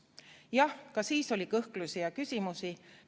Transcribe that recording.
Jah, ka siis oli kõhklusi ja küsimusi.